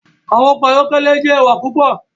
Awọn ọkọ ayọkẹlẹ jẹ ẹwa pupọ